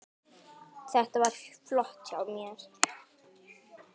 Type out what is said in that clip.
Þetta var flott hjá mér.